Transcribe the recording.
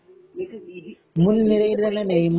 miss BG